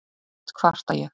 oft kvarta ég